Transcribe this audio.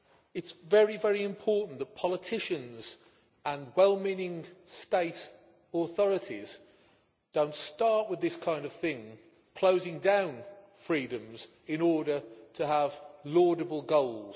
It is very important that politicians and well meaning state authorities do not start with this kind of thing, closing down freedoms in order to have laudable goals.